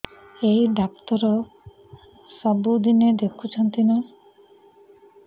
ଏଇ ଡ଼ାକ୍ତର ସବୁଦିନେ ଦେଖୁଛନ୍ତି ନା